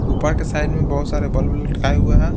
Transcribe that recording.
ऊपर के साइड में बहुत सारे बल्ब लटकाए हुए हैं।